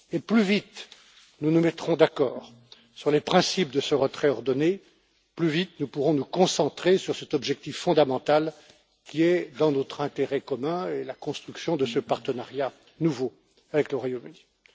Plus vite nous nous mettrons d'accord sur les principes de ce retrait ordonné, plus vite nous pourrons nous concentrer sur cet objectif fondamental qui relève de notre intérêt commun, à savoir la construction de ce partenariat nouveau avec le Royaume Uni.